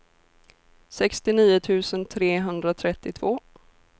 sextionio tusen trehundratrettiotvå